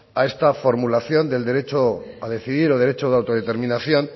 a estar formulación del derecho a decidir o derecho de autodeterminación